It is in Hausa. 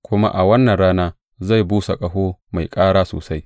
Kuma a wannan rana zai busa ƙaho mai kāra sosai.